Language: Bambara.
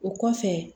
O kɔfɛ